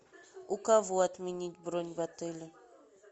у кого отменить бронь в отеле